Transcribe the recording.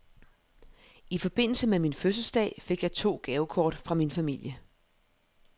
I forbindelse med min fødselsdag fik jeg to gavekort fra min familie.